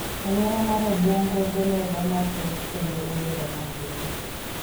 Aluora mar Obuongo doloro mathoth kendo obedo matin.